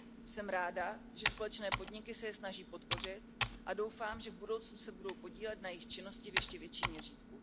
Jsem ráda, že společné podniky se je snaží podpořit a doufám, že v budoucnu se budou podílet na jejich činnosti v ještě větším měřítku.